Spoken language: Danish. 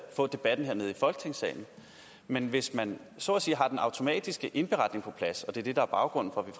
få debatten hernede i folketingssalen men hvis man så at sige har den automatiske indberetning på plads og det er det der er baggrunden